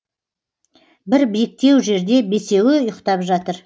бір биіктеу жерде бесеуі ұйықтап жатыр